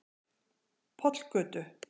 Pollgötu